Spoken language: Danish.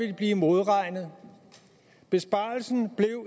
de blive modregnet besparelsen blev